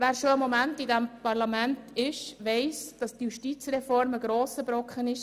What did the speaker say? Wer schon länger im Parlament ist, weiss, dass die Justizreform ein grosser Brocken war.